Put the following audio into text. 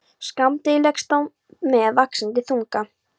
Skammdegið leggst á með vaxandi þunga.